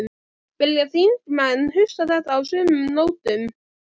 Vilja þingmenn hugsa þetta á sömu nótum?